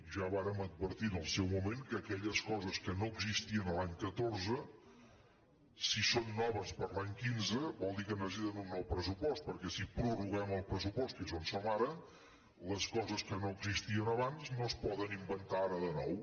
ja vàrem advertir en el seu moment que aquelles coses que no existien l’any catorze si són noves per l’any quinze vol dir que necessiten un nou pressupost perquè si prorroguem el pressupost que és on som ara les coses que no existien abans no es poden inventar ara de nou